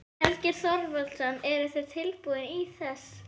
Helgi Þorvaldsson: Og eruð þið tilbúin til þess?